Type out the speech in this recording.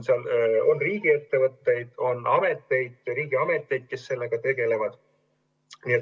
On riigiettevõtteid, on riigiameteid, kes sellega tegelevad.